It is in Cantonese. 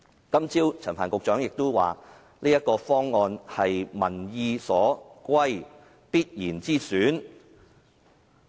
今早陳帆局長亦表示，這個方案是"民意所歸，必然之選"。